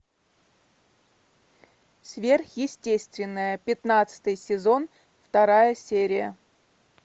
сверхъестественное пятнадцатый сезон вторая серия